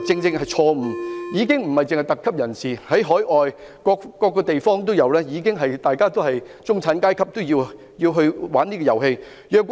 高爾夫球已經不只是特級人士的遊戲，在海外各個地方，已經有中產階級玩這遊戲。